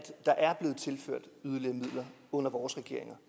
der under vores regeringer